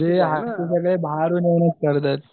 जे